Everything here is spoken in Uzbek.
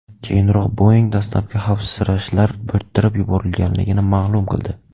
Keyinroq Boeing dastlabki xavfsirashlar bo‘rttirib yuborilganligini ma’lum qildi.